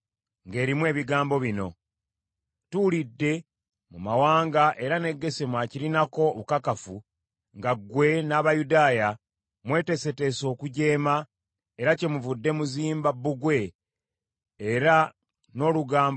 ng’erimu ebigambo bino nti, “Tuwulidde mu mawanga, era ne Gesemu akirinako obukakafu, nga ggwe n’Abayudaaya, mweteeseteese okujeema era kyemuvudde muzimba bbugwe, era n’olugambo luyitayita nga ggwe olina enteekateeka ey’okufuuka kabaka waabwe.